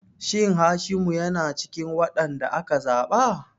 Shin Hashimu yana cikin wadanda aka zaba?